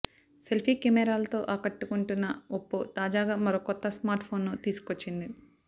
selfie కెమెరాలతో ఆకట్టుకుంటున్న Oppo తాజాగా మరో కొత్త స్మార్ట్ ఫోన్ ను తీసుకొచ్చింది